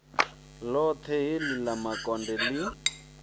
ḽoṱhe heḽi ḽa makonde ḽi